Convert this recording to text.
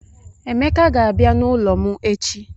Emeka ga-abia n'ulo m echi